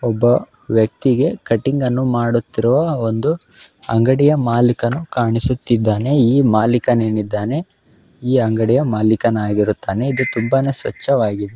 ಒಬ್ಬ ವ್ಯಕ್ತಿಗೆ ಕಟಿಂಗ್ ನ್ನು ಮಾಡುತ್ತಿರುವ ಒಂದು ಅಂಗಡಿಯ ಮಾಲೀಕನು ಕಾಣಿಸುತ್ತಿದ್ದಾನೆ ಈ ಮಾಲೀಕನೇನಿದ್ದಾನೆ ಈ ಅಂಗಡಿಯ ಮಾಲೀಕನಾಗಿರುತ್ತಾನೆ. ಇದು ತುಂಬಾನೇ ಸ್ವಚ್ಛವಾಗಿದ್ದು. .